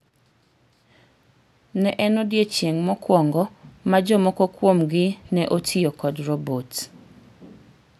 Ne en odiechieng' mokwongo ma jomoko kuom gi ne otiyee kod robot.